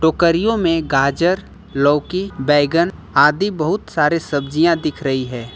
टोकरियों में गाजर लौकी बैगन आदि बहुत सारे सब्जियां दिख रही है।